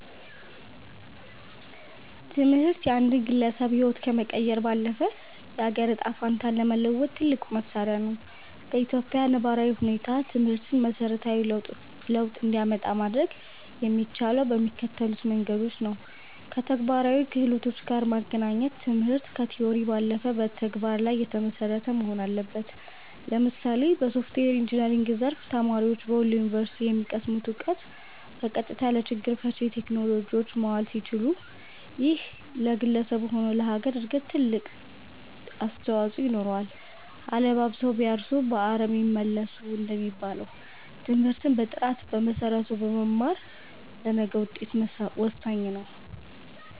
ትምህርት የአንድን ግለሰብ ህይወት ከመቀየር ባለፈ፣ የአገርን ዕጣ ፈንታ ለመለወጥ ትልቁ መሣሪያ ነው። በኢትዮጵያ ነባራዊ ሁኔታ ትምህርትን መሠረታዊ ለውጥ እንዲያመጣ ማድረግ የሚቻለው በሚከተሉት መንገዶች ነውከተግባራዊ ክህሎት ጋር ማገናኘት ትምህርት ከቲዎሪ ባለፈ በተግባር ላይ የተመሰረተ መሆን አለበት። ለምሳሌ በሶፍትዌር ኢንጂነሪንግ ዘርፍ፣ ተማሪዎች በወሎ ዩኒቨርሲቲ የሚቀስሙትን እውቀት በቀጥታ ለችግር ፈቺ ቴክኖሎጂዎች ማዋል ሲችሉ፣ ይሄ ለግለሰቡም ሆነ ለሀገር እድገት ትልቅ አስተዋፅኦ ይኖረዋል። "አለባብሰው ቢያርሱ በአረም ይመለሱ" እንደሚባለው፣ ትምህርትን በጥራትና በመሰረቱ መማር ለነገው ውጤት ወሳኝ ነው።